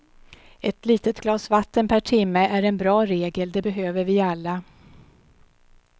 Ett litet glas vatten per timme är en bra regel, det behöver vi alla.